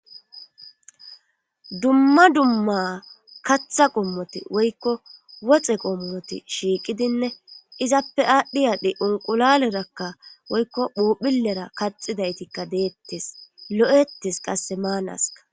dumma dumma katha qommoti woykko woxe qommoti shiiqidinne izappe aadhdhi aadhe unqulalerakka woykko phuphilera kaxidaytikka deettes lo'ettes qasse maanaska